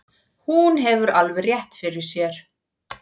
Hún hefur alveg rétt fyrir sér.